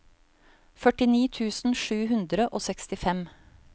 førtini tusen sju hundre og sekstifem